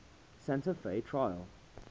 santa fe trail